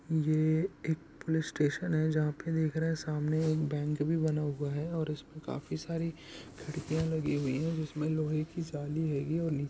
यह एक police station है जहां पर देख रहे हैं सामने एक बैंक बना हुआ है और उसपे काफी सारी खिड़कियां लगी हुई है जिसमें लोहे की जाली है।